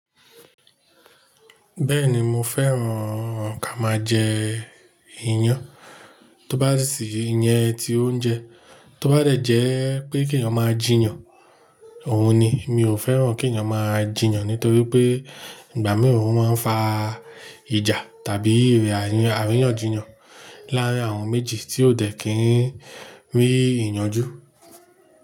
Bẹ́ẹ̀ni mo fẹ́ràn ká máa jẹ iyán. Tóbá sì yẹn ti oúnjẹ, tóbá rẹ̀ jẹ́ pé kìyàn máa jiyàn òhun ni. Mi ò fẹ́ràn kí ènìyàn máa jìyàn nítorí pé ìgbà mìíràn ó máa ń fa ìjà tàbí àríyànjiyàn láàárín àwọn méjì tí ó tẹ̀ kí n rí ìyànjú.